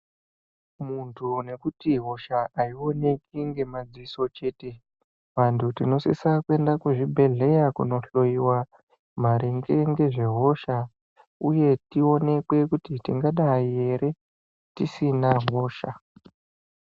Muntu nekuti hosha haioneki ngemadziso chete. Vantu tinosisa kuenda kuzvibhedhleya kunohloyiwa maringe ngezvehosha uye tionekwe kuti tingadai here tisina hosha.